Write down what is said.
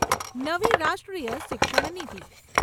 નવી રાષ્ટ્રીય શિક્ષણ નિતી